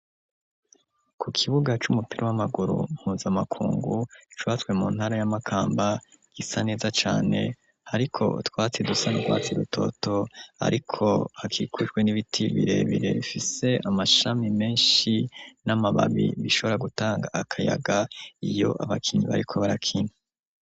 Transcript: ku kibuga c'umupira w'amaguru npuza makungu cwatswe mu ntara y'amakamba gisa neza cyane ariko twatsi dusanu kwatsi rutoto ariko hakikurwe n'ibiti birebire fise amashami menshi n'amababi bishobora gutanga akayaga iyo abakinnyi bariko barakina